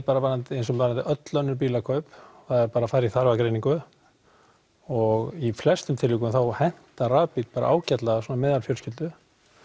eins og með öll bílakaup er að fara í þarfagreiningu og í flestum tilvikum þá hentar rafbíll bara ágætlega meðalfjölskyldu